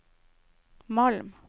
Malm